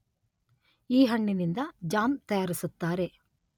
ಈ ಹಣ್ಣಿನಿಂದ ಜಾಮ್ ತಯಾರಿಸುತ್ತಾರೆ